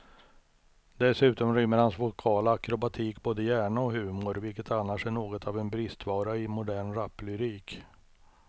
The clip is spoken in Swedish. Dessutom rymmer hans vokala akrobatik både hjärna och humor, vilket annars är något av en bristvara i modern raplyrik.